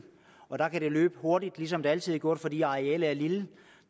der kan det løbe hurtigt ligesom det altid har gjort fordi arealet er lille